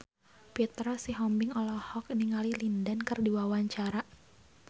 Petra Sihombing olohok ningali Lin Dan keur diwawancara